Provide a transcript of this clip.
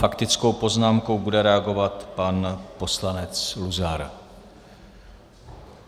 Faktickou poznámkou bude reagovat pan poslanec Luzar.